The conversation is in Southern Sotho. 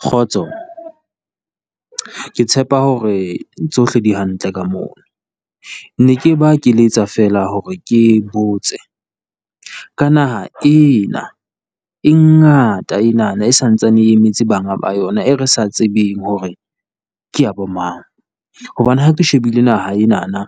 Kgotso, ke tshepa hore tsohle di hantle ka moo. Ne ke mpa ke letsa fela hore ke botse, ka naha ena e ngata enana e sa ntsaneng e emetse banga ba yona, eo re sa tsebeng hore ke ya bomang, hobane ha ke shebile naha enana,